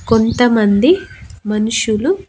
కొంతమంది మనుషులు--